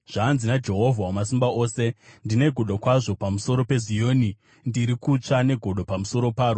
Zvanzi naJehovha Wamasimba Ose: “Ndine godo kwazvo pamusoro peZioni; ndiri kutsva negodo pamusoro paro.”